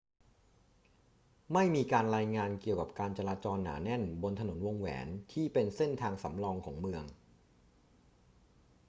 ไม่มีการรายงานเกี่ยวกับการจราจรหนาแน่นบนถนนวงแหวนที่เป็นเส้นทางสำรองของเมือง